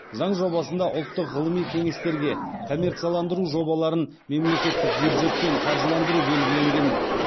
заң жобасында ұлттық ғылыми кеңестерге коммерцияландыру жобаларын мемлекеттік бюджеттен қаржыландыру белгіленген